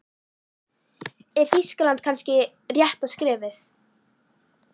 Er Þýskaland kannski rétta skrefið?